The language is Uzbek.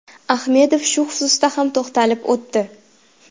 Ahmedov shu xususda ham to‘xtalib o‘tdi.